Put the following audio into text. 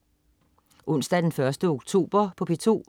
Onsdag den 1. oktober - P2: